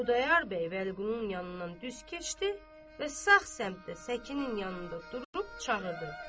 Xudayar bəy Bəliqulunun yanından düz keçdi və sağ səmtdə səkinin yanında durub çağırdı.